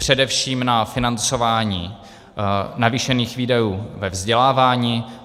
Především na financování navýšených výdajů ve vzdělávání.